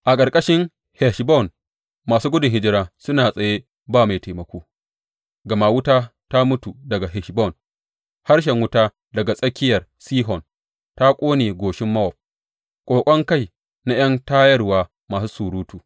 A ƙarƙashin Heshbon masu gudun hijira suna tsaye ba mai taimako, gama wuta ta mutu daga Heshbon, harshen wuta daga tsakiyar Sihon; ta ƙone goshin Mowab, ƙoƙon kai na ’yan tayarwa masu surutu.